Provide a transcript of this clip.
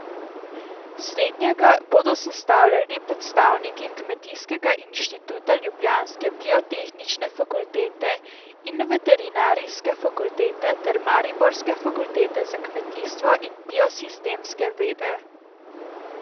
Slednjega bodo sestavljali predstavniki kmetijskega inštituta, ljubljanske biotehnične fakultete in veterinarske fakultete ter mariborske fakultete za kmetijstvo in biosistemske vede.